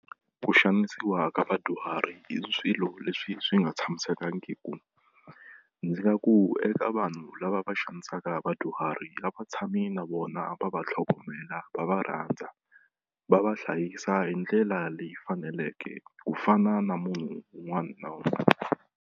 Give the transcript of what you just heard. Ku xanisiwa ka vadyuhari hi swilo leswi swi nga tshamisekangiku ndzi nga ku eka vanhu lava va xanisaka vadyuhari a va tshami na vona va va tlhogomela va va rhandza va va hlayisa hi ndlela leyi faneleke ku fana na munhu wun'wani na .